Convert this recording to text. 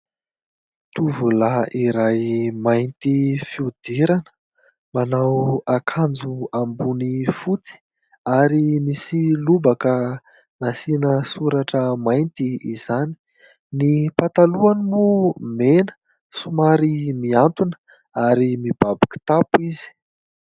Tovolahy iray mainty fihodirana manao akanjo ambony fotsy ary misy lobaka nasiana soratra mainty izany, ny patalohany moa mena somary miantona ary mibaby kitapo izy.